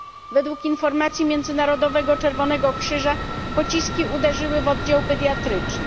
Według informacji Międzynarodowego Czerwonego Krzyża pociski uderzyły w oddział pediatryczny.